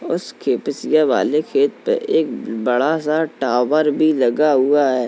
उसके पिसया वाले खेत पे एक बड़ा सा टावर भी लगा हुआ है।